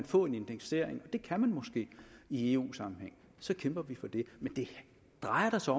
få en indeksering og det kan man måske i eu sammenhæng så kæmper vi for det men det drejer sig